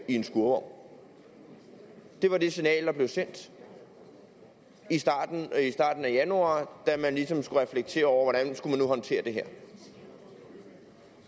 en skurvogn det var det signal der blev sendt i starten af januar da man ligesom skulle reflektere over hvordan skulle håndtere det her og